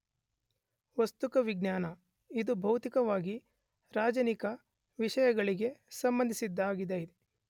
ವಸ್ತುಕ ವಿಜ್ಞಾನ , ಇದು ಭೌತಿಕವಾಗಿ ರಾಚನಿಕ ವಿಷಯಗಳಿಗೆ ಸಂಬಂಧಿಸಿದ್ದಾಗಿದೆ.